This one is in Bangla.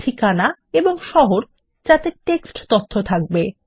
ঠিকানা এবং শহর যাতে টেক্সট তথ্য থাকবে